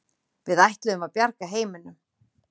Við ætluðum að bjarga heiminum.